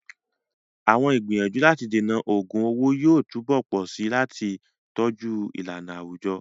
Àwọn ìgbìyànjú láti dènà ògun owó yóò túbọ̀ pọ̀ sí i láti tọ́jú ìlànà àwùjọ.